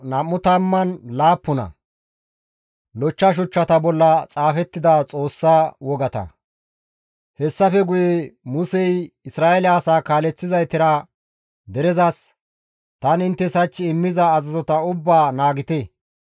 Hessafe guye Musey Isra7eele asaa kaaleththizaytara derezas, «Tani inttes hach immiza azazota ubbaa naagite.